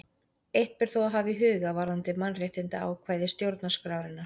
Eitt ber þó að hafa í huga varðandi mannréttindaákvæði stjórnarskrárinnar.